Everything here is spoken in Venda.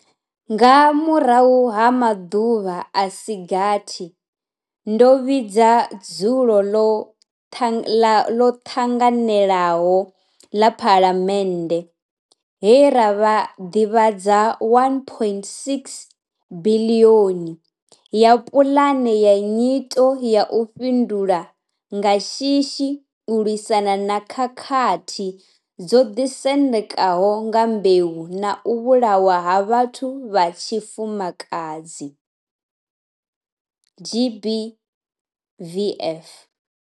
Nga murahu ha maḓuvha a si gathi, ndo vhidza dzulo ḽo ṱanganelaho ḽa Phalamennde, he ra ḓivhadza R1.6 biḽioni ya Pulane ya Nyito ya u Fhindula nga Shishi u lwisana na khakhathi dzo ḓisendekaho nga mbeu na u vhulawa ha vhathu vha tshifumakadzi GBVF.